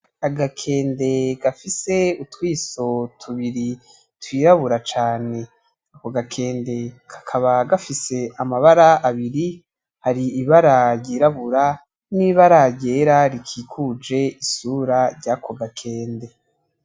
Agakende gafise utwiso tubiri twirabura cane ako gakende kakaba gafise amabara abiri hari ibara ryirabura n'ibara ryera rikikuje isura yako gakende.